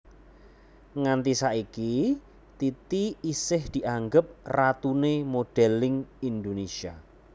Nganti saiki Titi isih dianggep ratuné modèlling Indonésia